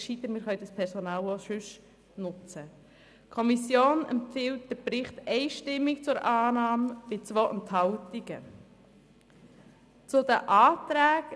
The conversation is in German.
Die Kommission empfiehlt den Bericht einstimmig bei 2 Enthaltungen zur Annahme.